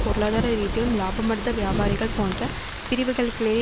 பொருளாதார ரீதியிலும் இலாபமடைந்த வியாபாரிகள் போன்ற பிரிவுகளுக்லே